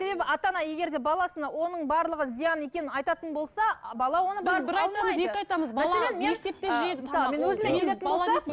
себебі ата ана егер де баласына оның барлығы зиян екенін айтатын болса